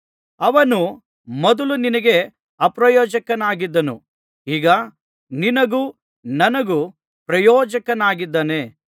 ಅವನು ಮೊದಲು ನಿನಗೆ ಅಪ್ರಯೋಜಕನಾಗಿದ್ದನು ಈಗ ನಿನಗೂ ನನಗೂ ಪ್ರಯೋಜಕನಾಗಿದ್ದಾನೆ